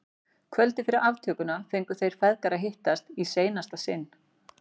Kvöldið fyrir aftökuna fengu þeir feðgar að hittast í seinasta sinn.